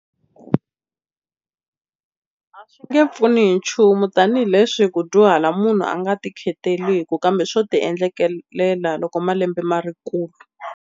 A swi nge pfuni hi nchumu tanihileswi ku dyuhala munhu a nga tikhetelaku kambe swo ti endlekela loko malembe ma ri kulu.